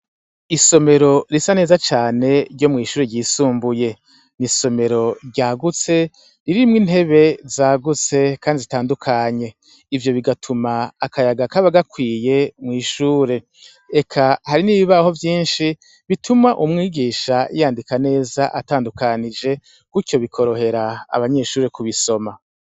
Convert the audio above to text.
Isomero risa neza cane ryo mw'isshure yisumbuye. Isomero ryagutse, ririmwo intebe zagutse kandi zitandukanye. Ivyo bigatuma akayaga kaba gakwiye mw'ishure. Eka hari n'ibibaho vyinshi, bituma umwigisha yandika neza atandukanije, gutyo bikorohera abanyeshure kubisoma.